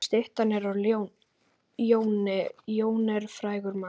Styttan er af Jóni. Jón er frægur maður.